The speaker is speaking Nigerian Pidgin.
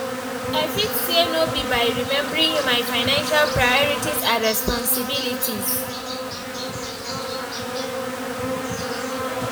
I fit say no be by remembering my financial priorities and responsibilities.